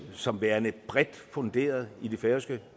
som værende bredt funderet i det færøske